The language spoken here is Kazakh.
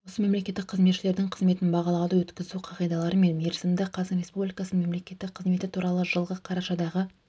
осы мемлекеттік қызметшілердің қызметін бағалауды өткізу қағидалары мен мерзімі қазақстан республикасының мемлекеттік қызметі туралы жылғы қарашадағы